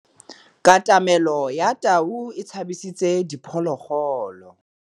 Katamêlô ya tau e tshabisitse diphôlôgôlô.